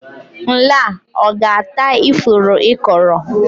Nla ọ ga-ata ifuru ị kọrọ?